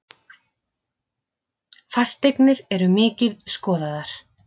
Fasteignir eru mikið skoðaðar